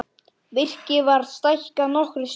Virkið var stækkað nokkrum sinnum.